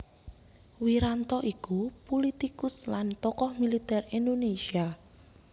Wiranto iku pulitikus lan tokoh militer Indonésia